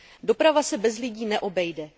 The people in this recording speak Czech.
Doprava se bez lidí neobejde.